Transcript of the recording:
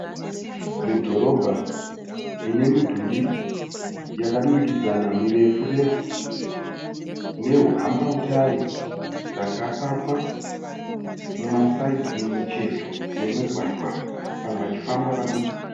Mudhorobha mune midhuri yakadurikidzana mirefu refu nehambautare dzakapakwa mumasaidhi memucheto memugwaga. Vanhu vachifamba.